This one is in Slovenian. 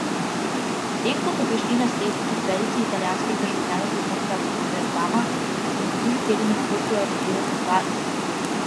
Potem ko so prišli na sled četverici italijanskih državljanov z območja Bergama, so minuli teden v Kopru aretirali dva izmed njih.